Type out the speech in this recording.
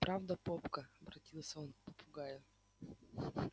правда попка обратился он к попугаю